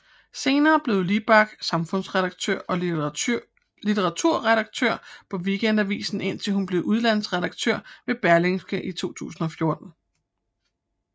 Senere blev Libak samfundsredaktør og litteraturredaktør på Weekendavisen indtil hun blev udlandsredaktør ved Berlingske i 2014